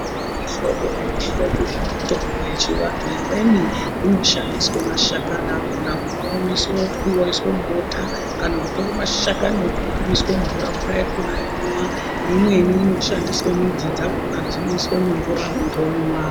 Muhlombo nemihlobo yemitombo yechiantu imweni inoshandiswa mashakani akona kumaomesa otwiwa oyiswa mubota kana kutirwa mashakani opioiswa mumvura mvurayakona yomwiwa imweni ino shandiswa midzi dzakona dzinoiswa mumvura muntu omwa.